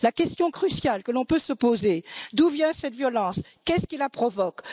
La question cruciale que l'on peut se poser est d'où vient cette violence, qu'est ce qui la provoque?